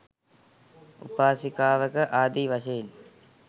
උපාසිකාවක ආදී වශයෙන්